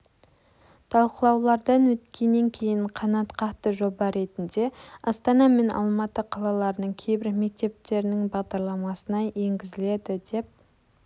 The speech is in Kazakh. талқылаулардан өткеннен кейін қанатқақты жоба ретінде астана мен алматы қалаларының кейбір мектептерінің бағдарламасына енгізіледі деп